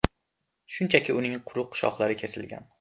Shunchaki uning quruq shohlari kesilgan.